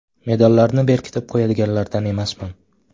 Medallarni berkitib qo‘yadiganlardan emasman.